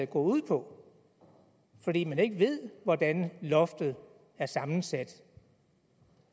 går ud på fordi man ikke ved hvordan loftet er sammensat